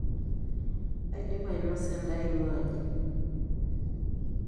aidipa ainosa endaa ainguaa aji